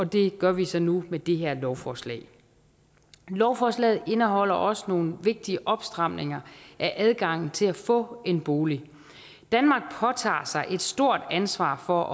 det gør vi så nu med det her lovforslag lovforslaget indeholder også nogle vigtige opstramninger af adgangen til at få en bolig danmark påtager sig et stort ansvar for